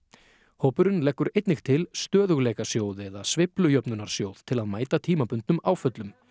hópurinn leggur einnig til stöðugleikasjóð eða til að mæta tímabundnum áföllum